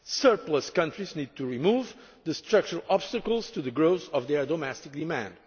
Surplus' countries need to remove the structural obstacles to the growth of their domestic demand.